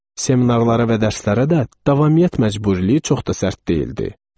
Seminarlara və dərslərə də davamiyyət məcburiyyəti çox da sərt deyildi.